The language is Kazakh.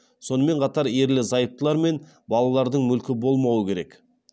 сонымен қатар ерлі зайыптылар мен балалардың мүлкі болмауы керек